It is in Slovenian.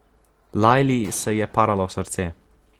Lajli se je paralo srce.